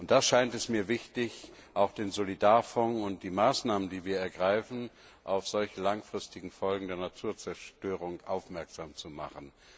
Da scheint es mir wichtig, auch den Solidarfonds und die Maßnahmen, die wir ergreifen, auf solche langfristigen Folgen der Naturzerstörung auszurichten.